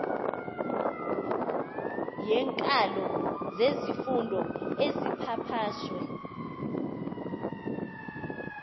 yeenkalo zezifundo ezipapashwe